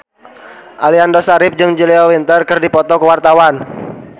Aliando Syarif jeung Julia Winter keur dipoto ku wartawan